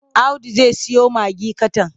Audu zai siyo magi katan.